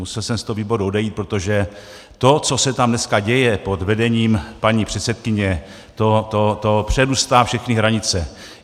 Musel jsem z toho výboru odejít, protože to, co se tam dneska děje pod vedením paní předsedkyně, to přerůstá všechny hranice.